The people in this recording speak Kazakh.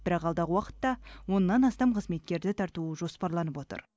бірақ алдағы уақытта оннан астам қызметкерді тарту жоспарланып отыр